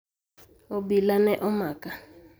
Obila ne omaka